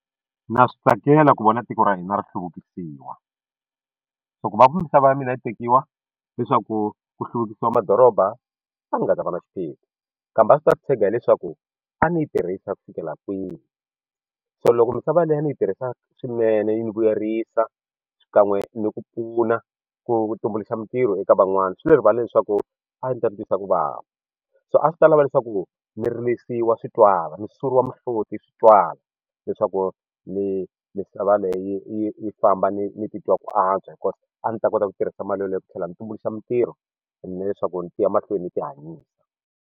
Na swi tsakela ku vona tiko ra hina ri hluvukisiwa so ku va misava ya mina yi tekiwa leswaku ku hluvukisa madoroba a ni nga ta va na xiphiqo kambe a swi ta tshega hileswaku a ndzi yi tirhisa ku fikela kwihi so loko misava leyo ni yi tirhisa swinene yi ni vuyerisa xikan'we ni ku pfuna ku tumbuluxa mintirho eka van'wani swi le rivala leswaku a ndzi ta ti twisa ku vava so a swi ta lava leswaku ni rilisiwa swi twala ni suriwa mihloti swi twala leswaku misava leyi yi yi famba ni ni titwa ku antswa a ni ta kota ku tirhisa mali yaleyo ku tlhela ni tumbuluxa mintirho ni leswaku ni ti ya mahlweni ni ti hanyisa.